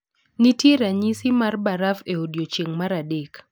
Nitie ranyisi mar baraf e odiechieng' mar adek